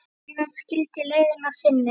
Síðan skildi leiðir að sinni.